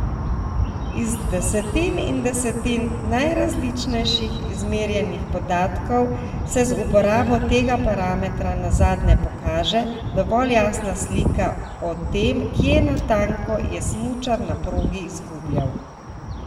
Iz desetin in desetin najrazličnejših izmerjenih podatkov se z uporabo tega parametra nazadnje pokaže dovolj jasna slika o tem, kje natanko je smučar na progi izgubljal.